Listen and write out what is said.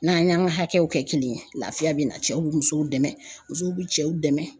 N'an y'an ka hakɛw kɛ kelen ye lafiya bɛ na cɛw bɛ musow dɛmɛ musow bɛ cɛw dɛmɛ